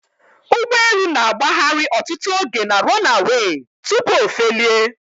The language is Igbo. Ugbọelu na agbahari ọtụtụ oge na 'runaway' tupu ofelie